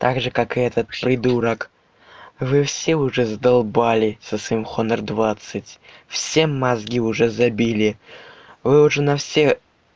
также как и этот придурок вы все уже задолбали со своим хонор двадцать все мозги уже забили вы уже на все